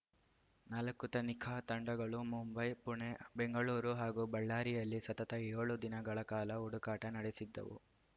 ನಾಲ್ಕು ತನಿಖಾ ತಂಡಗಳು ಮುಂಬೈ ಪುಣೆ ಬೆಂಗಳೂರು ಹಾಗೂ ಬಳ್ಳಾರಿಯಲ್ಲಿ ಸತತ ಏಳು ದಿನಗಳ ಕಾಲ ಹುಡುಕಾಟ ನಡೆಸಿದ್ದವು